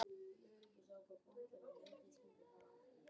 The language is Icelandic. Þarf ég þá að stafa það ofan í þig?